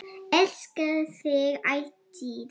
Elska þig ætíð.